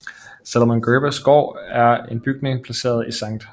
Salomon Gerbers Gård er en bygning placeret i Sct